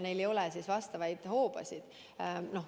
Neil ei ole vastavaid hoobasid.